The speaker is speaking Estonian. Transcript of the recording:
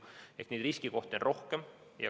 Ehk neid riskikohti on rohkem.